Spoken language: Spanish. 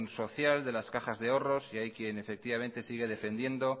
social de las cajas de ahorros y hay quien sigue defendiendo